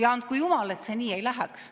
Andku jumal, et see nii ei läheks.